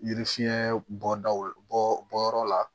Yiri fiɲɛ bɔdaw bɔ bɔ yɔrɔ la